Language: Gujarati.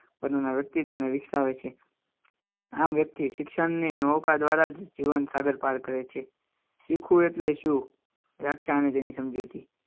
વ્યક્તિગત અને રીક્ષા આવે છે જીવન સાગર પાર કરે છે શીખવું એટલે શું વ્યાખ્યા આવે તેની સમજૂતી